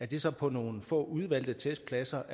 det så på nogle få udvalgte testpladser